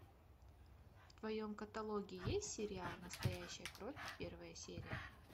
в твоем каталоге есть сериал настоящая кровь первая серия